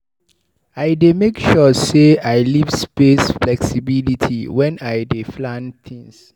I dey make sure sey I leave space flexibility wen I dey plan tins.